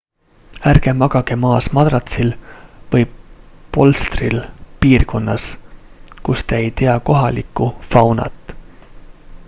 ärge magage maas madratsil või polstril piirkonnas kus te ei tea kohalikku faunat